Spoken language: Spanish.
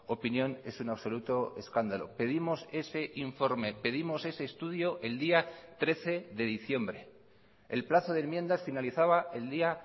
opinión es un absoluto escándalo pedimos ese informe pedimos ese estudio el día trece de diciembre el plazo de enmiendas finalizaba el día